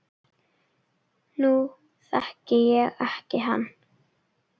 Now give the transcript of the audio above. Nú þekki ég ekki hann